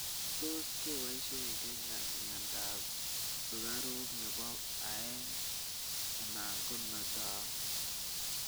tuus kepaishe kenya mianda ap sugaruk nepo aeng ana konatau